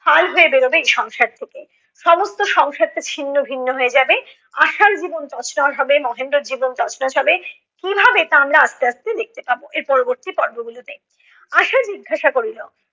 ফাল হয়ে বেরবে এই সংসার থেকে। সমস্ত সংসারটা ছিন্ন ভিন্ন হয়ে যাবে, আশার জীবন তছ নছ হবে, মহেন্দ্রর জীবন তছ নছ হবে, কীভাবে তা আমরা আস্তে আস্তে দেখতে পাব এর পরবর্তী পর্ব গুলো তে। আশা জিজ্ঞাসা করিল